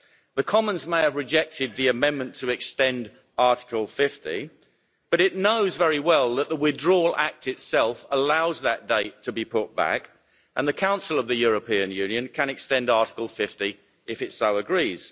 The Commons may have rejected the amendment to extend Article 50 but it knows very well that the Withdrawal Act itself allows that date to be put back, and the Council of the European Union can extend Article 50 if it so agrees.